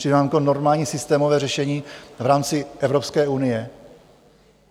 Přijde vám to jako normální systémové řešení v rámci Evropské unie?